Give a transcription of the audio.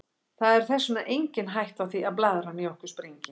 Það er þess vegna engin hætta á því að blaðran í okkur springi.